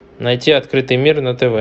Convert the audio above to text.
найти открытый мир на тв